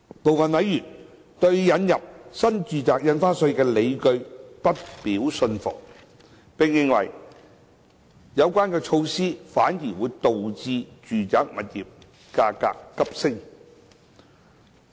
部分委員對引入新住宅印花稅的理據不表信服，並認為有關措施反而導致住宅物業價格急升。